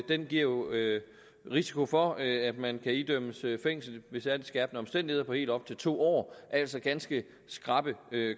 den giver jo risiko for at at man kan idømmes fængsel ved særligt skærpende omstændigheder på helt op til to år altså ganske skrappe